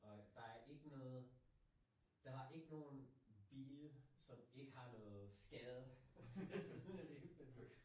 Og der er ikke noget der var ikke nogen bil som ikke har noget skade findes slet ikke